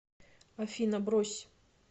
афина брось